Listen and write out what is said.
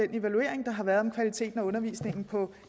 den evaluering der har været om kvaliteten af undervisningen på